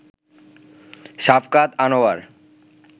Shafqat Anwar